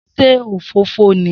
Se òfófó ni?